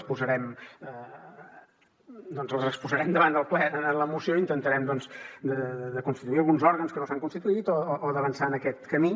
les posarem doncs les exposarem davant del ple en la moció i intentarem de constituir alguns òrgans que no s’han constituït o d’avançar en aquest camí